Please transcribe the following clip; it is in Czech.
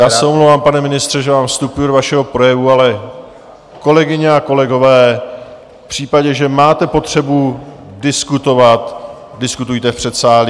Já se omlouvám, pane ministře, že vám vstupuji do vašeho projevu, ale kolegyně a kolegové, v případě, že máte potřebu diskutovat, diskutujte v předsálí.